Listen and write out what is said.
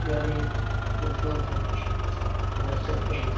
यह एक टोटो है । यह टोटो में --